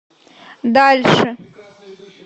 дальше